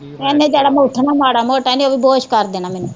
ਏਹਣੇ ਜਿਹੜਾ ਮੈਂ ਉੱਠਣਾ ਮਾੜਾ ਮੋਟਾ ਏਹਣੇ ਉਹ ਵੀ ਬੇਹੋਸ਼ ਕਰ ਦੇਣਾ ਮੈਨੂੰ